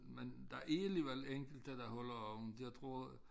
Men der er alligevel enkelte der holder åbent jeg tror